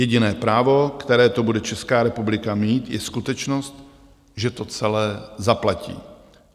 Jediné právo, které to bude Česká republika mít, je skutečnost, že to celé zaplatí.